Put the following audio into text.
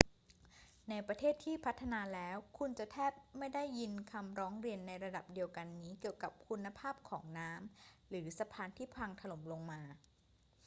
ในประเทศที่พัฒนาแล้ว คุณจะแทบไม่ได้ยินคำร้องเรียนในระดับเดียวกันนี้เกี่ยวกับคุณภาพของน้ำหรือสะพานที่พังถล่มลงมา